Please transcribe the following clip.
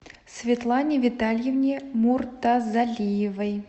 светлане витальевне муртазалиевой